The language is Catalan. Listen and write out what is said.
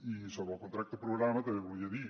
i sobre el contracte programa també volia dir